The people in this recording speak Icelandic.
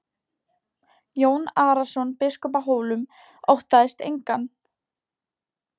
Jón Arason biskup á Hólum óttaðist engan.